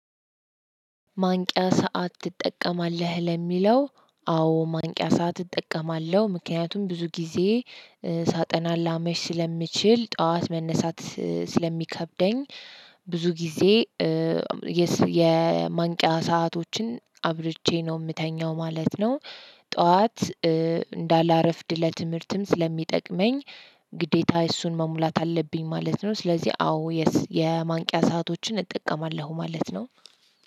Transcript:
ማንቂያ ሰዓት ትጠቀማለህ? ለሚለው አዎ ማንቂያ ሰዓት እጠቀማለሁ ምክንያቱም ብዙ ጊዜ ሳጠና ላመሽ ስለምችል ጠዋት መነሳት ስለሚከብደኝ ብዙ ጊዜ የማንቂያ ሰአቶችን አብርቼ ነው የምተኛው ማለት ነው። ጠዋት እንዳላረፍድ ለትምህርትም ስለሚጠቅመኝ ግዴታ እሱን መሙላት አለብኝ ማለት ነው። ስለዚህ አዎ የማንቂያ ሰአቶችን እጠቀማለሁ ማለት ነው።